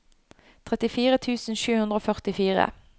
trettifire tusen sju hundre og førtifire